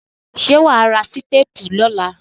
Ṣé wà á ra sítápù lọ́la?